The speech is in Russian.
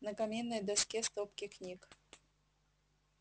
на каминной доске стопки книг